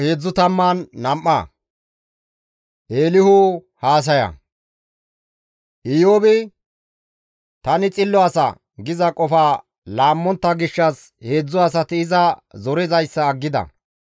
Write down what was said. Iyoobi, «Tani xillo asa» giza qofa laammontta gishshas heedzdzu asati iza zorizayssa aggida.